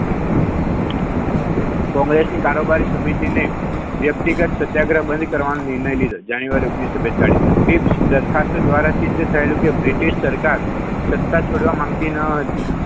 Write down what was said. કોંગ્રેસને કારોબારી સમિતિને વ્યક્તિગત સત્યાગ્રહ બંધ કરવાના નિર્ણય લીધો ઓગણીસો બેતાળીસ તે દરખાસ્ત દ્વારા તે નક્કી થયેલું કે બ્રિટિશ સરકાર સત્તા છોડવા માંગતી ન હતી.